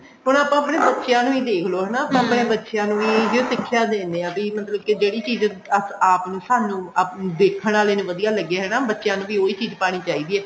ਹੁਣ ਆਪਾਂ ਆਪਣੇ ਬੱਚਿਆ ਨੂੰ ਹੀ ਦੇਖਲੋ ਆਪਣੇ ਬੱਚਿਆ ਨੂੰ ਵੀ ਏਹਿਉ ਸਿੱਖਿਆ ਦਿੰਦੇ ਆ ਵੀ ਮਤਲਬ ਕਿ ਜਿਹੜੀ ਚੀਜ਼ ਆਪ ਨੂੰ ਸਾਨੂੰ ਦੇਖਣ ਆਲੇ ਨੂੰ ਵਧੀਆ ਲੱਗੇ ਹਨਾ ਬੱਚਿਆ ਨੂੰ ਵੀ ਉਹੀ ਚੀਜ਼ ਪਾਣੀ ਚਾਹੀਦੀ ਐ